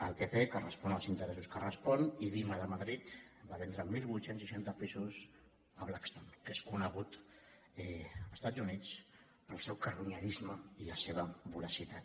el pp que respon als interessos que respon ivima de madrid va vendre divuit seixanta pisos a blackstone que és conegut a estats units pel seu carronyerisme i la seva voracitat